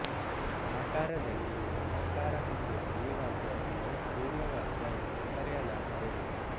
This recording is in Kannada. ಆಕಾರದಲ್ಲಿ ವೃತ್ತಾಕಾರ ಹೊಂದಿರುವ ಈ ವಾದ್ಯವನ್ನು ಸೂರ್ಯವಾದ್ಯ ಎಂದು ಕರೆಯಲಾಗಿದೆ